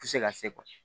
Ti se ka se